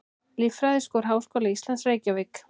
Líffræðiskor Háskóla Íslands, Reykjavík.